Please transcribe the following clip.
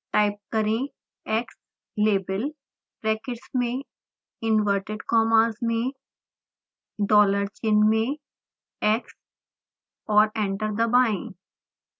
type करें xlabel brackets में inverted commas में डॉलर चिन्ह में x और एंटर दबाएं